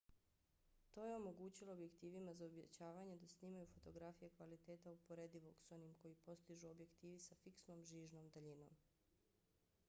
to je omogućilo objektivima za uvećavanje da snimaju fotografije kvaliteta uporedivog s onim koji postižu objektivi sa fiksnom žižnom daljinom